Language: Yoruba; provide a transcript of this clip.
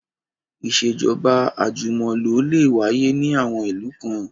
Ìṣèjọ́ba àjùmọ̀lò lè wáyé ní àwọn ìlú kan